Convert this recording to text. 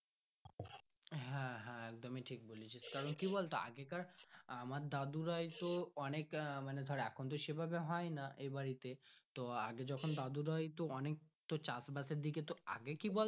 হ্যাঁ হ্যাঁ একদমই ঠিক বলেছিস কারণ কি বলতো আগে কার আমার দাদু রাই তো অনেকটা মানে এখন তো সে ভাবে হয় না এ বাড়ি তে তো আগে যখন দাদু রা হয়তো চাষবাস এর দিক আগে কি বলতো।